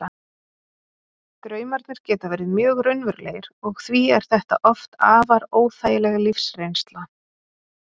Draumarnir geta verið mjög raunverulegir og því er þetta oft afar óþægileg lífsreynsla.